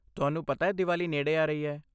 ਤੁਹਾਨੂੰ ਪਤਾ ਹੈ ਦੀਵਾਲੀ ਨੇੜੇ ਆ ਰਹੀ ਹੈ!